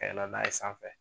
A yɛlɛ la n'a ye sanfɛ.